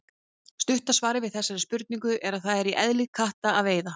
Stutta svarið við þessari spurningu er að það er í eðli katta að veiða.